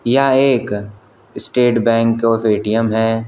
यह एक state bank of ATM है।